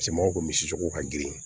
Cɛ mɔgɔw kun misiri cogo ka girin